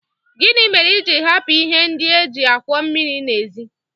Gịnị mere i ji hapụ ihe ndị e ji akwọ mmiri n'èzí?